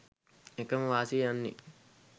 එකම වාසිය යන්නේ